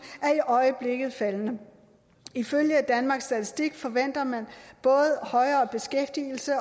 er i øjeblikket faldende ifølge danmarks statistik forventer man både højere beskæftigelse